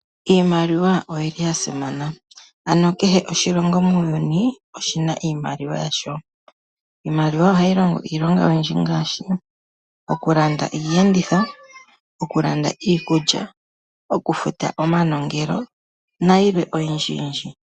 Iimaliwa oya simana kehe oshilongo muuyuni oshina iimaliwa yasho. Iimaliwa ohayi longo iilonga oyindji ngaashi okulanda iiyenditho, iikulya, okufuta omanongelo nayilwe oyindji yindji.